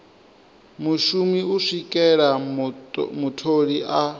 mushumi u swikela mutholi a